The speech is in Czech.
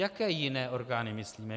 Jaké jiné orgány myslíme?